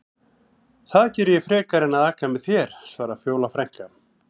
Það geri ég frekar en að aka með þér, svarar Fjóla frænka.